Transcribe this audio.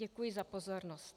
Děkuji za pozornost.